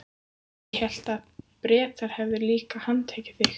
Ég hélt að Bretar hefðu líka handtekið þig?